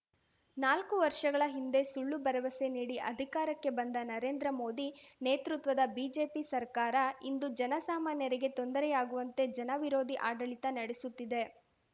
ನಾಲ್ಕು ವರ್ಷಗಳ ಹಿಂದೆ ಸುಳ್ಳು ಭರವಸೆ ನೀಡಿ ಅಧಿಕಾರಕ್ಕೆ ಬಂದ ನರೇಂದ್ರ ಮೋದಿ ನೇತೃತ್ವದ ಬಿಜೆಪಿ ಸರ್ಕಾರ ಇಂದು ಜನ ಸಾಮಾನ್ಯರಿಗೆ ತೊಂದರೆಯಾಗುವಂತೆ ಜನ ವಿರೋಧಿ ಆಡಳಿತ ನಡೆಸುತ್ತಿದೆ